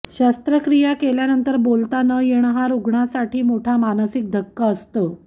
शस्त्रक्रिया केल्यानंतर बोलता न येणे हा रुग्णासाठी मोठा मानसिक धक्का असतो